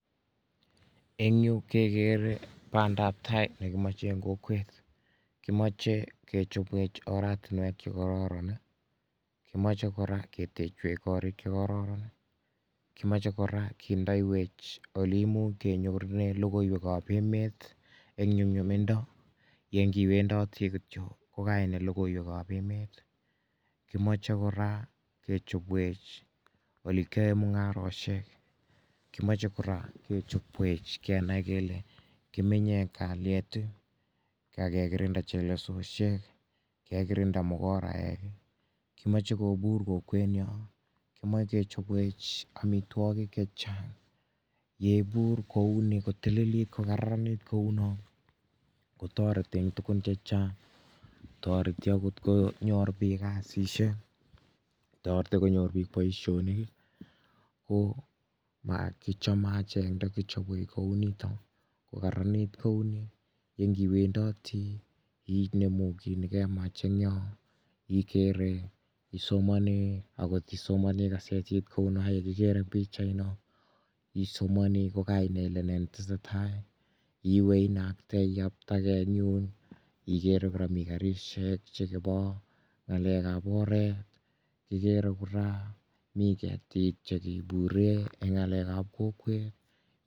Eng yu kekere bandaptai nekimeche eng kokwet. Kimoche kechopwech oratinwek chekororon, kimoche kora ketechwech korik chekororon, komoche kora kendeiwech oleimuch kenyorune logoiwekap emet eng nyumnyumindo ye nkiwendoti kityo ko kainai logoiwekap emet, kimoche kora kechopwech olekyoe mung'aroshek, kimoche kora kechopwech kenai kele kiminye eng kalyet, kakekirinda chelesoshek, kekirinda mukoraek, kimoche kobur kokwenyo, kimoche kechopwech amitwokik chechang. Yeipur kouni kotililit kokararanit kouno, kotoreti eng tukun chechang. Toreti akot konyor biik kasishek, toreti konyor biik boishonik ko kichome achek ndakichobwech kou nito kokararanit kou ni yenkiwendoti inemu ki nikemach eng yo ikere, isomani, akot isomoni kasetit ko u no yekikere eng pichaino, isomani ko kainai ile ne netesetai, iwe inakte iyaptekei eng yun ikere kora mi karishek chekepo ng'alekap oret, kikere kora mi ketik chekipure eng ng'alekap kokwet.